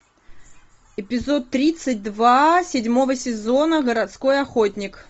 эпизод тридцать два седьмого сезона городской охотник